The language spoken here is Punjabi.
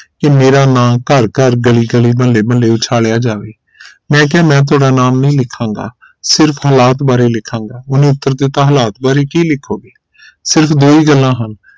ਕਿ ਮੇਰਾ ਨਾ ਘਰ ਘਰ ਗਲੀ ਗਲੀ ਮੁਹੱਲੇ ਮੁਹੱਲੇ ਉਛਾਲਿਆ ਜਾਵੇਮੈਂ ਕਿਹਾ ਮੈਂ ਤੁਹਾਡਾ ਨਾਮ ਨਹੀਂ ਲਿਖਾਂਗਾ ਸਿਰਫ ਹਾਲਾਤ ਬਾਰੇ ਲਿਖਾਂਗਾ ਓਹਨੇ ਉਤਰ ਦਿਤਾ ਹਾਲਾਤ ਬਾਰੇ ਕੀ ਲਿਖੋਂਗੇਸਿਰਫ ਦੋ ਹੀ ਗੱਲਾਂ ਹਨ